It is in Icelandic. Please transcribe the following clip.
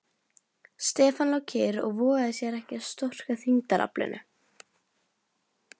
Stefán lá kyrr og vogaði sér ekki að storka þyngdaraflinu.